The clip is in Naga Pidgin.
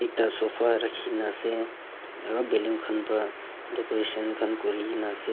ekta sofa rakhi kina ase aru ballon khan para decoration khan kori kina ase.